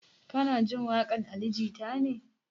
Kana jin waƙan ali jita ne?